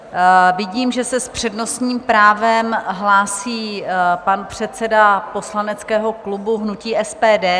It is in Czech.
Vidím, že se s přednostním právem hlásí pan předseda poslaneckého klubu hnutí SPD.